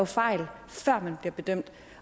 fejl før man bliver bedømt